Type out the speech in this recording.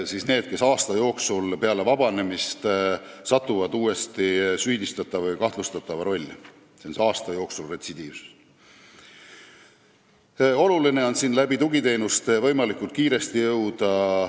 See puudutab neid, kes peale vabanemist satuvad uuesti süüdistatava või kahtlustatava rolli, see on see retsidiivsus aasta jooksul.